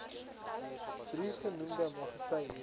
drie genoemde magasyne